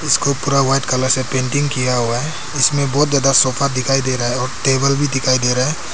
उसको पूरा white colour से पेंटिंग किया हुआ है इसमें बहुत ज्यादा सोफा दिखाई दे रहा है और टेबल भी दिखाई दे रहा है।